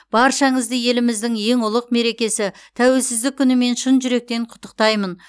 баршаңызды еліміздің ең ұлық мерекесі тәуелсіздік күнімен шын жүректен құттықтаймын